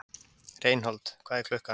Reinhold, hvað er klukkan?